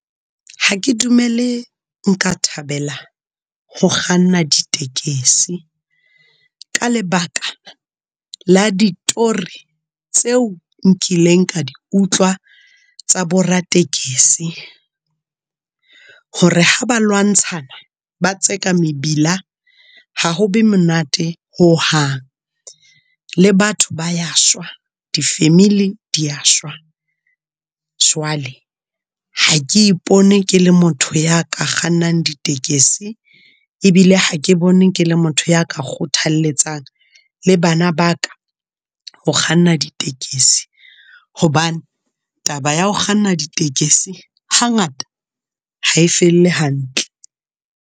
Ha ke dumele nka thabela ho kganna ditekesi. Ka lebaka, la ditori tseo nkileng ka di utlwa tsa bo rabotekesi. Hore ha ba lwantshana ba tseka mebila, ha hobe monate ho hang. Le batho ba ya shwa. Di-family di ya shwa. Jwale ha ke ipone ke le motho ya ka kgannang ditekesi. Ebile ha ke bone ke le motho ya ka kgothalletsang le bana ba ka, ho kganna ditekesi. Hobane taba ya ho kganna ditekesi, ha ngata ha e felle hantle.